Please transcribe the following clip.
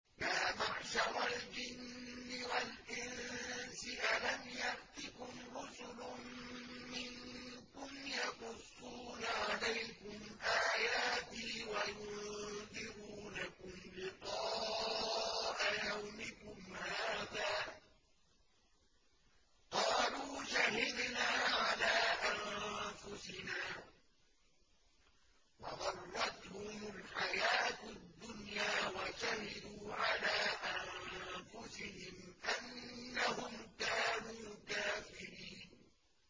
يَا مَعْشَرَ الْجِنِّ وَالْإِنسِ أَلَمْ يَأْتِكُمْ رُسُلٌ مِّنكُمْ يَقُصُّونَ عَلَيْكُمْ آيَاتِي وَيُنذِرُونَكُمْ لِقَاءَ يَوْمِكُمْ هَٰذَا ۚ قَالُوا شَهِدْنَا عَلَىٰ أَنفُسِنَا ۖ وَغَرَّتْهُمُ الْحَيَاةُ الدُّنْيَا وَشَهِدُوا عَلَىٰ أَنفُسِهِمْ أَنَّهُمْ كَانُوا كَافِرِينَ